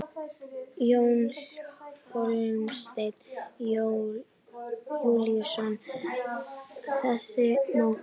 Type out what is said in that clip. Jón Hólmsteinn Júlíusson: Þessi mótor?